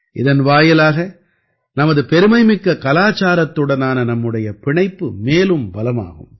இதன் வாயிலாக நமது பெருமைமிக்க கலாச்சாரத்துடனான நம்முடைய பிணைப்பு மேலும் பலமாகும்